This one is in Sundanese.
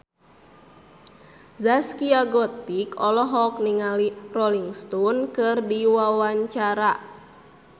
Zaskia Gotik olohok ningali Rolling Stone keur diwawancara